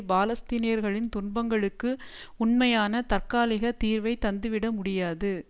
பாலஸ்தீனியர்களின் துன்பங்களுக்கு உண்மையான தற்காலிக தீர்வை தந்துவிட முடியாது